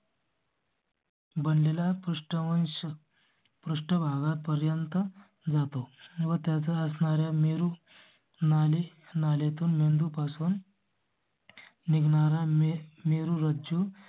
बनले ला पृष्ठवंश पृष्ठभागापर्यंत जातो. बरसणारा मेरू नाले नाले तो नंदू पासून. निघणारा मी मेरुरज्जू.